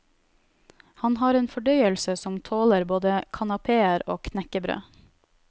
Han har en fordøyelse som tåler både kanapeer og knekkebrød.